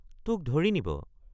তোক ধৰি নিব।